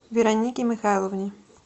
веронике михайловне